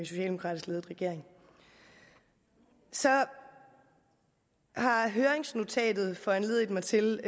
socialdemokratisk ledet regering så har høringsnotatet foranlediget mig til